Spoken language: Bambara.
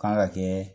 Kan ka kɛ